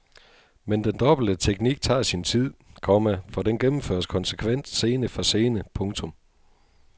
Men den dobbelte teknik tager sin tid, komma for den gennemføres konsekvent scene for scene. punktum